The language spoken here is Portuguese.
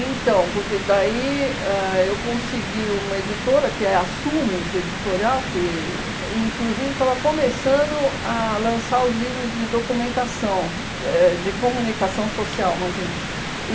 porque daí ãh eu consegui uma editora, que é a Sumos Editorial, que inclusive estava começando a lançar os livros de documentação, éh de comunicação social, imagina.